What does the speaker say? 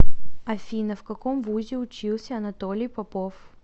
афина в каком вузе учился анатолий попов